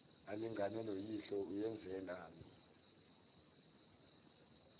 alingane noyihlo uyenzelani